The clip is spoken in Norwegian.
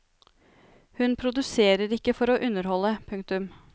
Hun produserer ikke for å underholde. punktum